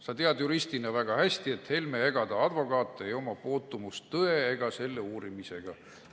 Sa tead juristina hästi, et ei Helme ega ta advokaat ei oma puutumust tõe ega selle uurimisega.